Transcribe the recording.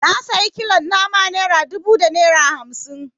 Na sayi kilon nama naira dubu da naira hamsi